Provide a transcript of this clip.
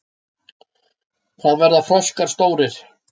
Hvað verða froskar stórir?